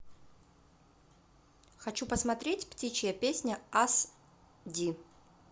хочу посмотреть птичья песня ас ди